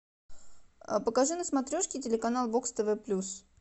покажи на смотрешке телеканал бокс тв плюс